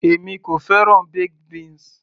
èmi kò fẹ́ràn baked beans